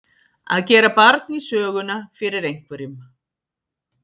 Að gera barn í söguna fyrir einhverjum